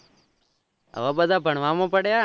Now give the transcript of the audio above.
હવે બધા ભણવા માં પડ્યા